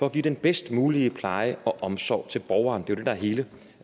at give den bedst mulige pleje og omsorg til borgeren det det der er hele